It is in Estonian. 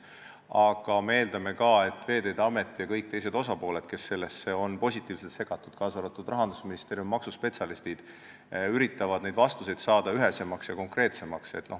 Aga me eeldame ka, et Veeteede Amet ja kõik teised osapooled, kes on sellesse positiivselt segatud, kaasa arvatud rahandusminister ja maksuspetsialistid, üritavad vastuseid ühesemaks ja konkreetsemaks muuta.